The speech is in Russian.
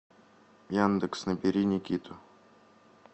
яндекс набери никиту